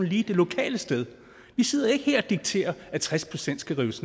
lige det lokale sted vi sidder ikke her og dikterer at tres procent skal rives